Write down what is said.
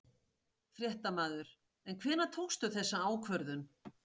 Fréttamaður: En hvenær tókstu þessa ákvörðun?